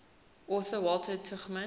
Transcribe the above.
author walter tuchman